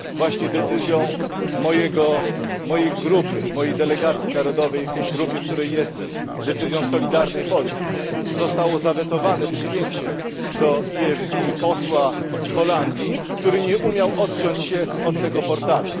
Właśnie decyzją mojej grupy, mojej delegacji narodowej w grupie, w której jestem, decyzją Solidarnej Polski, zostało zawetowane przyjęcie do EFD posła z Holandii, który nie umiał odciąć się od tego portalu.